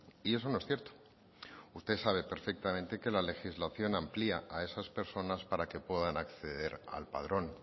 y eso no es cierto usted sabe perfectamente que la legislación amplía a esas personas para que puedan acceder al padrón